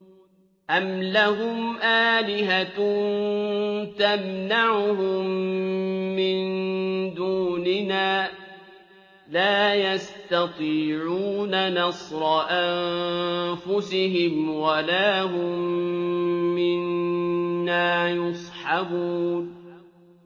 أَمْ لَهُمْ آلِهَةٌ تَمْنَعُهُم مِّن دُونِنَا ۚ لَا يَسْتَطِيعُونَ نَصْرَ أَنفُسِهِمْ وَلَا هُم مِّنَّا يُصْحَبُونَ